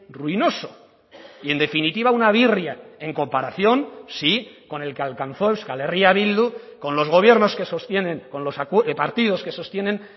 ruinoso y en definitiva una birria en comparación sí con el que alcanzó euskal herria bildu con los gobiernos que sostienen con los partidos que sostienen